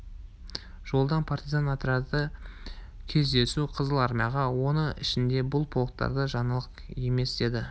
жолдан партизан отряды кездесу қызыл армияға оның ішінде бұл полктарға жаңалық емес еді